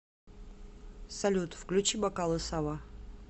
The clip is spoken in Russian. салют включи бокалы савва